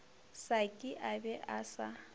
saki a be a sa